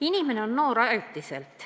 "Inimene on noor ajutiselt.